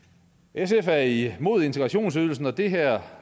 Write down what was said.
sf er imod integrationsydelsen og det her